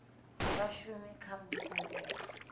vha shume kha vhupo vhu